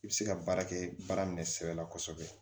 I bɛ se ka baara kɛ baara minɛ sira la kosɛbɛ